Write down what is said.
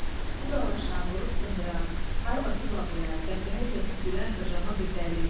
Bu dalaşan, vurub sındıran, hay basıb ağlayan, qəhqəhə çəkib gülən zırrama bir dəli idi.